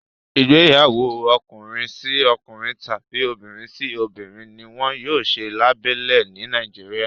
Igbeyawo Ọkùnrin sí ọkùnrin tàbi obìrin sí obìrin, ní wón yóò ṣe labélẹ ni Nàìjíríà